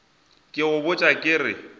ke go botša ke re